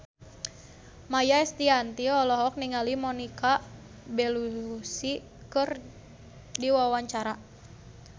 Maia Estianty olohok ningali Monica Belluci keur diwawancara